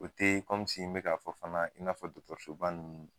O te n bɛka k'a fɔ fana in n'a dɔgɔtɔrɔsoban ninnu.